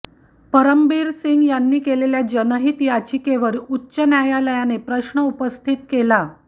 परमबीर सिंग यांनी केलेल्या जनहित याचिकेवर उच्च न्यायालयाने प्रश्न उपस्थित केला